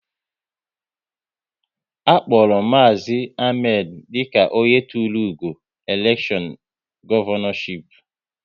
A kpọrọ Maazi Ahmed dịka onye tụrụ ugo n'elekshọn Gọvanọship